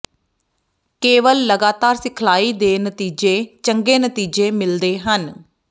ਕੇਵਲ ਲਗਾਤਾਰ ਸਿਖਲਾਈ ਦੇ ਨਤੀਜੇ ਚੰਗੇ ਨਤੀਜੇ ਮਿਲਦੇ ਹਨ